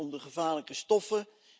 Het gaat om de gevaarlijke stoffen.